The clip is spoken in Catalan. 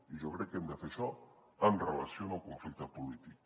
i jo crec que hem de fer això en relació amb el conflicte polític